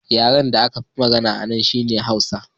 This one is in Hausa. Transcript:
Yaren da aka fi magana a nan shi ne Hausa